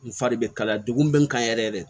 N fari bɛ kalaya dugu bɛ n kan yɛrɛ yɛrɛ